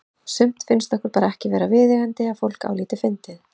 Sumt finnst okkur bara ekki vera viðeigandi að fólk álíti fyndið.